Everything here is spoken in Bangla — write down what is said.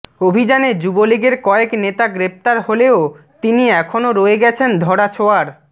অভিযানে যুবলীগের কয়েক নেতা গ্রেপ্তার হলেও তিনি এখনও রয়ে গেছেন ধরাছোঁয়ার